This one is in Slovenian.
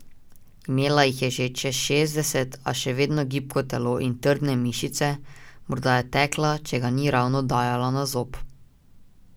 Imela jih je že čez šestdeset, a še vedno gibko telo in trdne mišice, morda je tekla, če ga ni ravno dajala na zob.